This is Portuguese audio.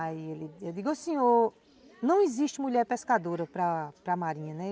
Aí eu digo, o senhor, não existe mulher pescadora para para marinha, né?